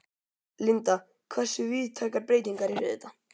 Linda, hversu víðtækar breytingar eru þetta?